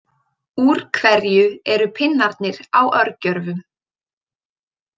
Úr hverju eru pinnarnir á örgjörvum?